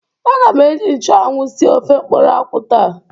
Aga m eji nchanwụ sie ofe mkpụrụ akwụ taa.